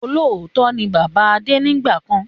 Olóòótọ́ ni bàbá Adé nígbàkan